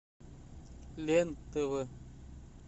лен тв